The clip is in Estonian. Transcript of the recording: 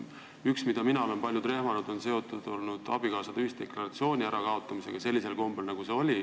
Üks, mille kurtmist mina olen palju trehvanud, on olnud abikaasade ühisdeklaratsiooni ärakaotamine sellisel kombel, nagu see oli.